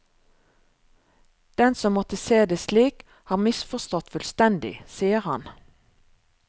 Den som måtte se det slik, har misforstått fullstendig, sier han.